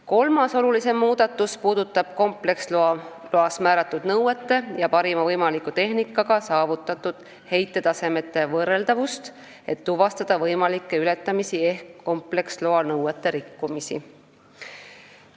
Kolmas olulisem muudatus puudutab kompleksloas määratud nõuete ja parima võimaliku tehnikaga saavutatud heitetasemete võrreldavust, et tuvastada võimalikke ületamisi ehk kompleksloa nõuete rikkumisi.